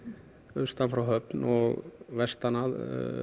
austan frá Höfn og vestan að